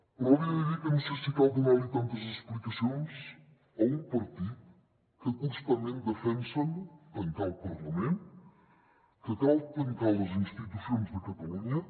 però li he de dir que no sé si cal donar li tantes explicacions a un partit que constantment defensa tancar el parlament que cal tancar les institucions de catalunya